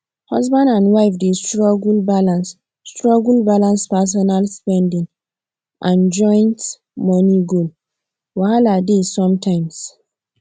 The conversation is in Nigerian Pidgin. husband and wife dey struggle balance struggle balance personal spending and joint money goal wahala dey sometimes